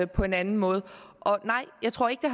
på en anden måde og nej jeg tror ikke